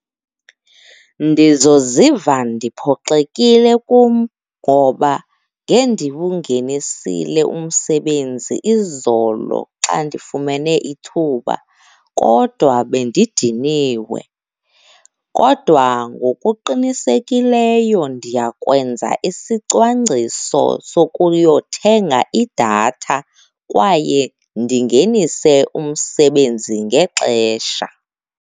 Ndizoziva ndiphoxekile kum ngoba ngendiwungenisile umsebenzi izolo xa ndifumene ithuba, kodwa bendidiniwe. Kodwa ngokuqinisekileyo ndiyakwenza isicwangciso sokuyothenga idatha kwaye ndingenise umsebenzi ngexesha.